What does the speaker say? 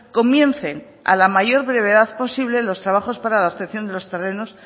comiencen a la mayor brevedad posible los trabajos para la obtención de los terrenos